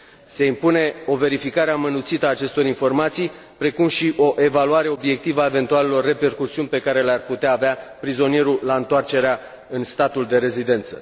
Se impune o verificare amănunțită a acestor informații, precum și o evaluare obiectivă a eventualelor repercusiuni pe care le ar putea avea prizonierul la întoarcerea în statul de rezidență.